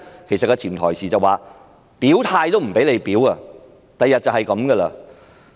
其實潛台詞就是連表態也不可，將來就是如此。